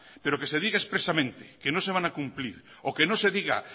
pero que se diga expresamente que no se van a cumplir o que no se diga